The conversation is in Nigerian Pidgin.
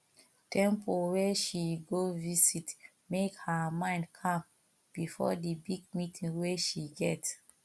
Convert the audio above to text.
temple wey she go visit make her mind calm before the big meeting wey she get